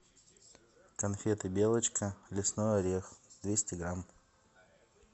конфеты белочка лесной орех двести грамм